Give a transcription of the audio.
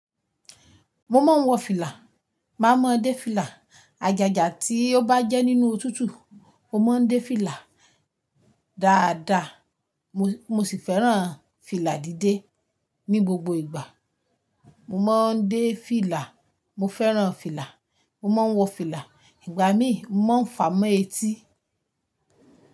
Mo máa ń wọ fìlà, màá mọ dé fìlà. Àjàjà tí ó bá jẹ́ nínú òtútù, mo máa ń dé fìlà dáadáa. Mo sì fẹ́ràn fìlà dídé. Ni gbogbo ìgbà, mo máa ń dé fìlà, mo fẹ́ràn fìlà, mo máa ń wọ fìlà. Ìgbà mí, mo ń fa mọ́ etí.